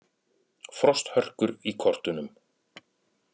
Frosthörkur í kortunum